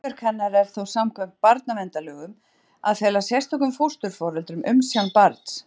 Hlutverk hennar er þá samkvæmt barnaverndarlögum að fela sérstökum fósturforeldrum umsjá barns.